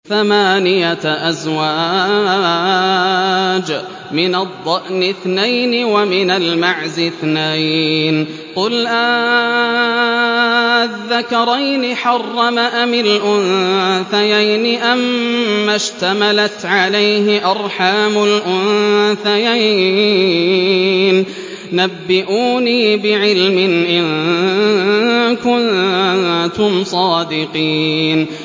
ثَمَانِيَةَ أَزْوَاجٍ ۖ مِّنَ الضَّأْنِ اثْنَيْنِ وَمِنَ الْمَعْزِ اثْنَيْنِ ۗ قُلْ آلذَّكَرَيْنِ حَرَّمَ أَمِ الْأُنثَيَيْنِ أَمَّا اشْتَمَلَتْ عَلَيْهِ أَرْحَامُ الْأُنثَيَيْنِ ۖ نَبِّئُونِي بِعِلْمٍ إِن كُنتُمْ صَادِقِينَ